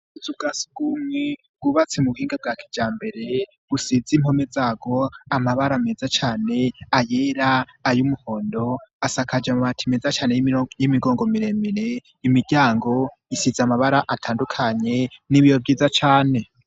Akazu ka sugumwe wubatse mu buhinga bwakijambere gusize impome zago amabara meza cyane ayera ay umuhondo asakaje mu bati meza cyane y'imigongo miremire imiryango isize amabara atandukanye n'ibiyo byiza cane.